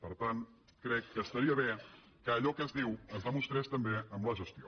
per tant crec que estaria bé que allò que es diu es demostrés també amb la gestió